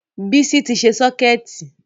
Bísọ́lá ti ṣe sọ́kẹ̀tì